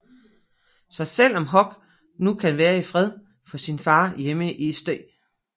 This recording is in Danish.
Så selv om Huck nu kan være i fred for sin far hjemme i St